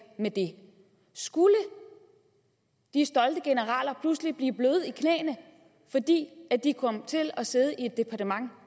med det skulle de stolte generaler pludselig blive bløde i knæene fordi de kom til at sidde i et departement